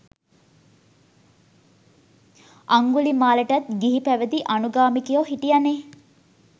අංගුලිමාලටත් ගිහිපැවදි අනුගාමිකයො හිටියනෙ.